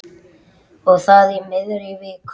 Og það í miðri viku.